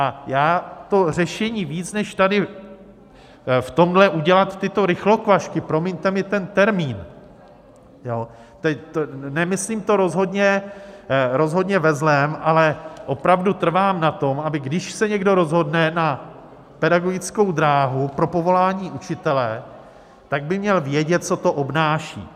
A já to řešení víc než tady v tomhle udělat tyhle rychlokvašky - promiňte mi ten termín, nemyslím to rozhodně ve zlém - ale opravdu trvám na tom, aby když se někdo rozhodne na pedagogickou dráhu, pro povolání učitele, tak by měl vědět, co to obnáší.